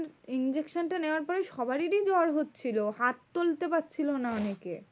Injection টা নেওয়ার পরেই সবারই জ্বর হচ্ছিলো হাত তুলতে পারছিলো না অনেকে।